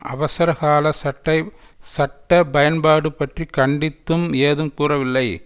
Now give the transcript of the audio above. அவசரகால சட்டை சட்ட பயன்பாடு பற்றி கண்டித்தும் ஏதும் கூறவில்லை